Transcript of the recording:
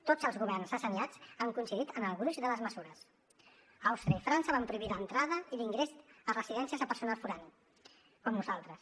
tots els governs assenyats han coincidit en el gruix de les mesures àustria i frança van prohibir l’entrada i l’ingrés a residències a personal forà com nosaltres